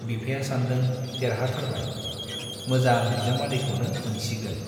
बिफाया सानदों-देरहाथारबाय, मोजां बिजामादैखौनो मोनसिगोन।